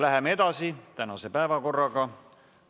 Läheme tänase päevakorraga edasi.